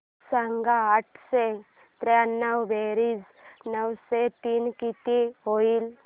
सांग आठशे त्र्याण्णव बेरीज नऊशे तीन किती होईल